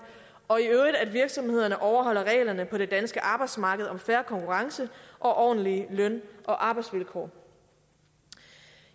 og at virksomhederne overholder reglerne på det danske arbejdsmarked om fair konkurrence og ordentlige løn og arbejdsvilkår